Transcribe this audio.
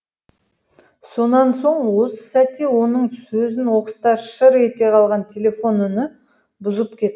сонан соң осы сәтте оның сөзін оқыста шыр ете қалған телефон үні бұзып кетті